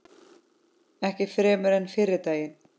Ekki fremur en fyrri daginn.